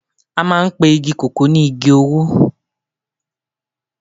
a maan pe Igi koko ni Igi owo